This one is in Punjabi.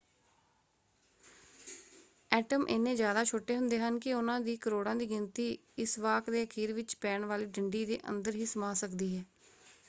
ਐਟਮ ਇੰਨੇ ਜ਼ਿਆਦਾ ਛੋਟੇ ਹੁੰਦੇ ਹਨ ਕਿ ਉਹਨਾਂ ਦੀ ਕਰੋੜਾਂ ਦੀ ਗਿਣਤੀ ਇਸ ਵਾਕ ਦੇ ਅਖੀਰ ਵਿੱਚ ਪੈਣ ਵਾਲੀ ਡੰਡੀ ਦੇ ਅੰਦਰ ਹੀ ਸਮਾ ਸਕਦੀ ਹੈ।